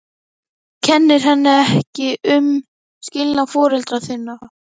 Þú kennir henni ekki um skilnað foreldra þinna?